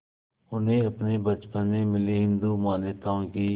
उन्हें अपने बचपन में मिली हिंदू मान्यताओं की